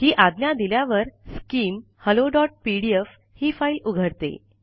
ही आज्ञा दिल्यावर skim hello PDF ही फाइल उघडते